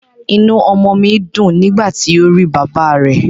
Inú ọmọ mi dùn nígbà tí ó rí bàbá rẹ̀